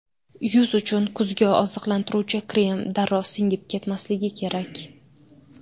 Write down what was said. Yuz uchun kuzgi oziqlantiruvchi krem darrov singib ketmasligi kerak.